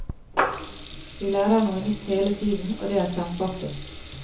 Vi lærer noe nytt hele tiden, og det er kjempeartig.